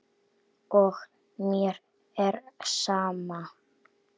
Og mér er sama.